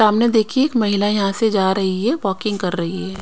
सामने देखिए एक महिला यहां से जा रही है वाकिंग कर रही है।